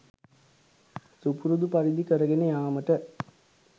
සුපුරුදු පරිදි කරගෙන යාමට